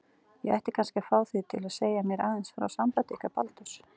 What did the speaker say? Ég ætti kannski að fá þig til að segja mér aðeins frá sambandi ykkar Baldurs.